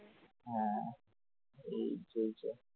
হ্যাঁ এই চলছে ।